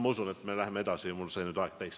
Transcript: Ma usun, et me läheme edasi, mul sai nüüd aeg täis.